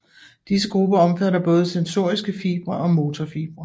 Disse grupper omfatter både sensoriske fibre og motorfibre